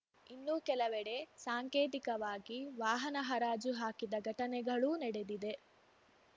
ಇನ್ನೂ ಕೆಲವೆಡೆ ಸಾಂಕೇತಿಕವಾಗಿ ವಾಹನ ಹರಾಜು ಹಾಕಿದ ಘಟನೆಗಳೂ ನಡೆದಿದೆ